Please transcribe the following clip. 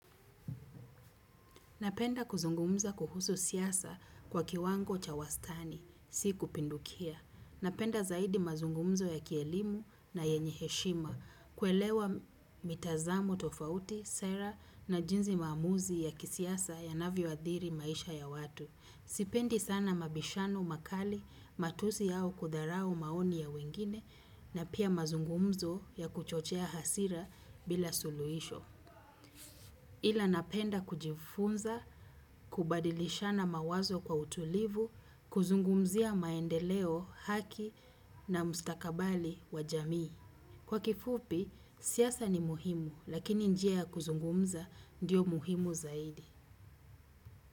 Napenda kuzungumza kuhusu siasa kwa kiwango cha wastani, si kupindukia. Napenda zaidi mazungumzo ya kielimu na yenye heshima, kuelewa mitazamo tofauti, sera na jinsi maamuzi ya kisiasa yanavyo hadhiri maisha ya watu. Sipendi sana mabishano, makali, matusi au kudharau maoni ya wengine, na pia mazungumzo ya kuchochea hasira bila suluisho. Ila napenda kujifunza, kubadilishana mawazo kwa utulivu, kuzungumzia maendeleo haki na mstakabali wa jamii. Kwa kifupi, siasa ni muhimu, lakini njia ya kuzungumza ndiyo muhimu zaidi.